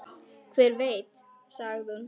Hver veit, sagði hún.